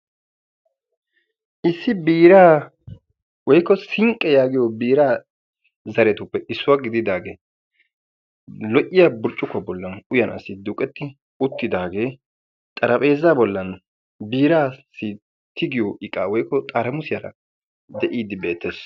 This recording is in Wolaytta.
Issi biiraa woykko sinqqi yaagiyo biiraa zaretuppe issuwa gididagee lo"iya burccukkuwa bollan uyanaassi duuqetti uttidagee xarphpheezaa bollan biiraa tigiyo iqqaa woykko xarammussiyan deiidi beettees.